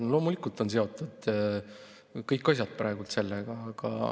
No loomulikult, kõik asjad on praegu seotud sellega.